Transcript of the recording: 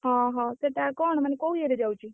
ଓହୋ ସେଇଟା କଣ ମାନେ କୋଉ ଇଏରେ ଯାଉଛି?